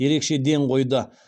ерекше ден қойды